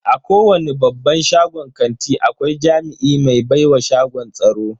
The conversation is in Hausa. A kowani babban shagon kanti akwai jami'i ba baiwa shagon tsaro.